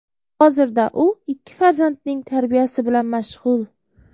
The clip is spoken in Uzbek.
Hozirda u ikki farzandining tarbiyasi bilan mashg‘ul.